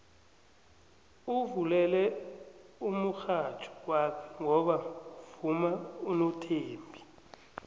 uvulele umurhatjho wakhe ngoba kuvuma unothembi